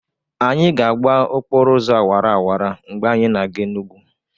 Anyị ga-agba okporo ụzọ awara awara mgbe anyị na-aga Enugwu.